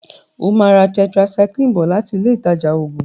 o má rà tetracycline bó lati Ilé ìtajà oògùn.